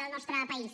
del nostre país